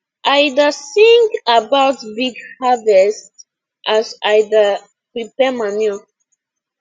i da sing about big harvest as i da prepare manure